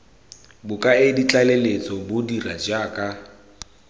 bokaedi tlaleletso bo dira jaaka